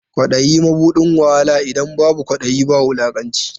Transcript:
Kwaɗayi mabuɗin wahala, idan babu kwaɗayi ba wulakanci.